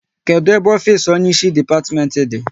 Kedụ ebe ofisi onye isi depatimenti dị?